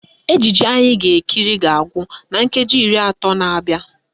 Ejije anyị ga-ekiri ga-agwụ na nkeji iri atọ na-abịa